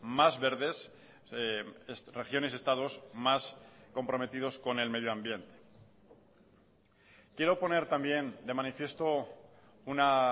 más verdes regiones estados más comprometidos con el medio ambiente quiero poner también de manifiesto una